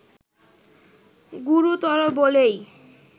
গুরুতর বলেই